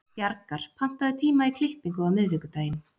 Bjargar, pantaðu tíma í klippingu á miðvikudaginn.